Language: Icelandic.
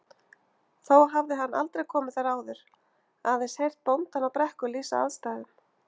Þó hafði hann aldrei komið þar áður, aðeins heyrt bóndann á Brekku lýsa aðstæðum.